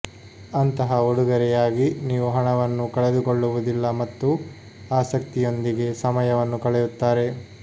ಅಂತಹ ಉಡುಗೊರೆಯಾಗಿ ನೀವು ಹಣವನ್ನು ಕಳೆದುಕೊಳ್ಳುವುದಿಲ್ಲ ಮತ್ತು ಆಸಕ್ತಿಯೊಂದಿಗೆ ಸಮಯವನ್ನು ಕಳೆಯುತ್ತಾರೆ